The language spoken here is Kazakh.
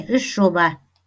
үш жоба